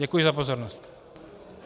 Děkuji za pozornost.